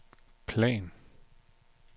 plan